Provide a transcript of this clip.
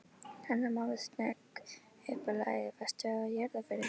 Hanna-Mamma snögg upp á lagið: Varstu við jarðarförina hans